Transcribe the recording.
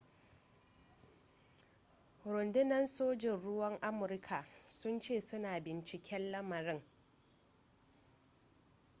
rundunar sojin ruwan amurka sun ce suna binciken lamarin